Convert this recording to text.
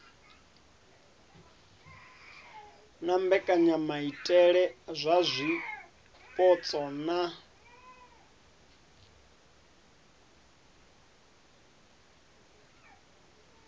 na mbekanyamaitele dza zwipotso na